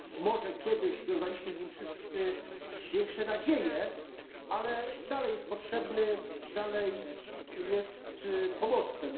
Może kiedyś wiązaliśmy z nim wszyscy większe nadzieje, ale dalej jest potrzebny, dalej jest pomostem.